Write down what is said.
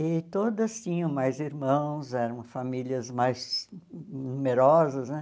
E todas tinham mais irmãos, eram famílias mais numerosas, né?